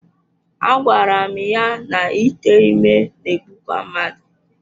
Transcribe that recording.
Agwara m ya na ite ime na-egbukwa mmadụ.